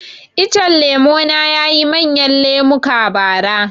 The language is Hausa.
Icen lemo na yayi manyan lemuka bara